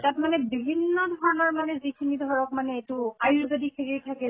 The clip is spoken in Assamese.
তাত মানে বিভিন্ন ধৰণৰ মানে যিখিনি ধৰক এইটো আয়ুৰ্বেদিক হেৰি থাকে